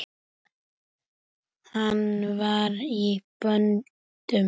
Hann var í böndum.